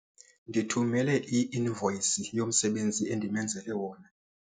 Ndithumele i-invoyisi yomsebenzi endimenzele wona.